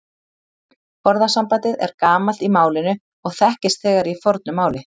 Orðasambandið er gamalt í málinu og þekkist þegar í fornu máli.